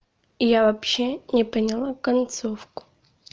я вообще не поняла концовку